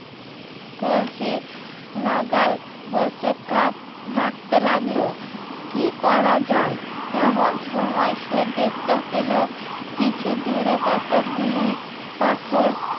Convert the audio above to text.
কলসি নাগাল হতে কাক ভাবতে লাগলো কি করা যায় এমন সময় সে দেখতে পেলো কিছু দূরে কতগুলি পাথর